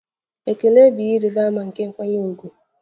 Ekele bụ ihe ịrịba ama nke nkwanye ùgwù.